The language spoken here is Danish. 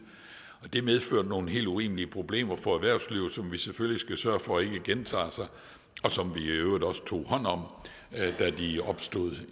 det medførte nogle helt urimelige problemer for erhvervslivet som vi selvfølgelig skal sørge for ikke gentager sig og som vi i øvrigt også tog hånd om da de opstod